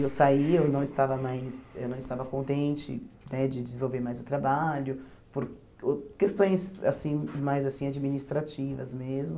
Eu saí, eu não estava mais, eu não estava contente né de desenvolver mais o trabalho, por por questões assim mais assim administrativas mesmo.